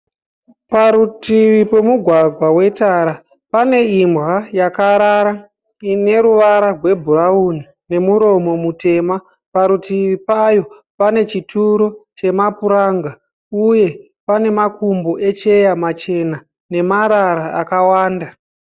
Parutivi pemugwagwa wetara pane imbwa yakarara ine ruvara gwebhurauni nemuromo mutema, parutivi payo pane chituro chemapuranga, uye pane makumbo echeya machena, nemarara akawanda.